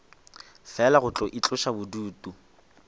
fela go tlo itloša bodutu